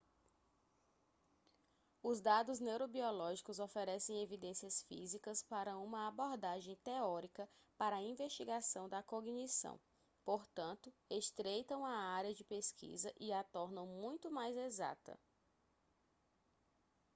os dados neurobiológicos oferecem evidências físicas para uma abordagem teórica para a investigação da cognição portanto estreitam a área de pesquisa e a tornam muito mais exata